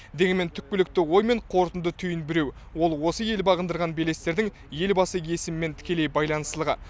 дегенмен түпкілікті ой мен қорытынды түйін біреу ол осы ел бағындырған белестердің елбасы есімімен тікелей байланыстылығы